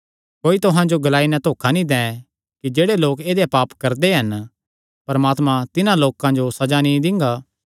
कोई तुहां जो एह़ ग्लाई नैं धोखा नीं दैं कि जेह्ड़े लोक ऐदेय पाप करदे हन परमात्मा तिन्हां लोकां जो सज़ा नीं दिंगा